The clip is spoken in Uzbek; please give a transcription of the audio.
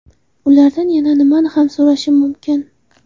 Ulardan yana nimani ham so‘rashim mumkin?